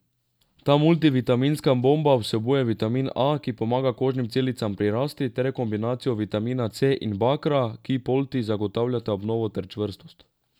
Ta multivitaminska bomba vsebuje vitamin A, ki pomaga kožnim celicam pri rasti, ter kombinacijo vitamina C in bakra, ki polti zagotavljata obnovo ter čvrstost.